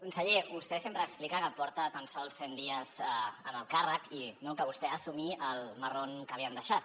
conseller vostè sempre explica que porta tan sols cent dies en el càrrec i que vostè ha d’assumir el marron que li han deixat